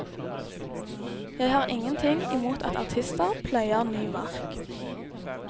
Jeg har ingen ting imot at artister pløyer ny mark.